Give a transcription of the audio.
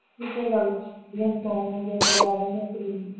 ਇਕੋ ਗੱਲ ਠੰਡ ਕਰਕੇ ਆਖੜਿਆ ਰਹਿੰਦਾ ਹੈ ਸਰੀਰ